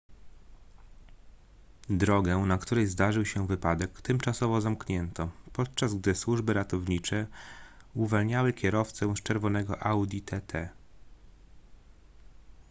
drogę na której zdarzył się wypadek tymczasowo zamknięto podczas gdy służby ratowniczye uwalniały kierowcę z czerwonego audi tt